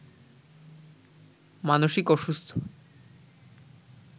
মানসিক অসুস্থ